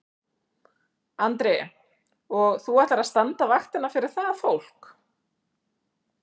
Andri: Og þú ætlar að standa vaktina fyrir það fólk?